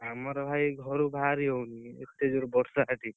ଆମର ଭାଇ ଘରୁ ବାହାରି ହଉନି ଏତେ ଜୋରେ ବର୍ଷା ଆଜି